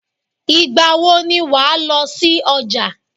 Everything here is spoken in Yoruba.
Ìgbà wo ni wà á lọ sí ọjà?